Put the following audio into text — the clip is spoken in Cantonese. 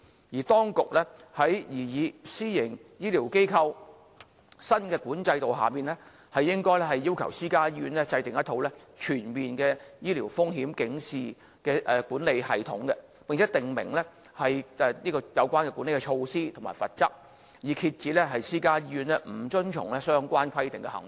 而當局在擬議的私營醫療機構新規管制度下，應要求私家醫院制訂一套全面的醫療風險警示的管理系統，並訂明有關的管理措施和罰則，以遏止私家醫院不遵從相關規定的行為。